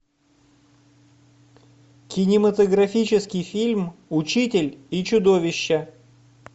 кинематографический фильм учитель и чудовище